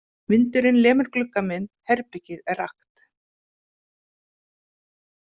Vindurinn lemur glugga minn, herbergið er rakt.